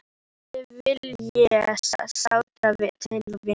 Þig vil ég sárt til vinna.